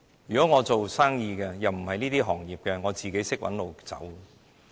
如果我是營商的，又不屬於這些行業，我自會找出路。